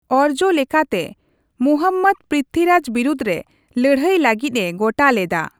ᱚᱨᱡᱚ ᱞᱮᱠᱟᱛᱮ ᱢᱩᱦᱚᱢᱢᱫᱚ ᱯᱨᱤᱛᱷᱤᱨᱟᱡ ᱵᱤᱨᱩᱫᱷ ᱨᱮ ᱞᱟᱹᱲᱦᱟᱹᱭ ᱞᱟᱜᱤᱫᱼᱹᱮ ᱜᱚᱴᱟ ᱞᱮᱫᱟ ᱾